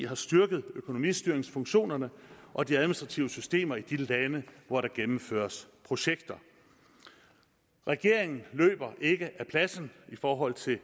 har styrket økonomistyringsfunktionerne og de administrative systemer i de lande hvor der gennemføres projekter regeringen løber ikke af pladsen i forhold til